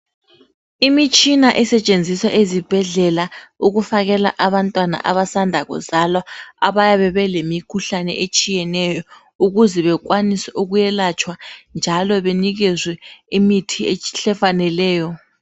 Imitshina esetshenziswa ezibhedlela ukufakele abantwana abasanda kuzalwa abayabe belemikhuhlane etshiyeneyo. Ukuze bekwanise ukuyelatshwa njalo benikezwe imithi efaneleyo.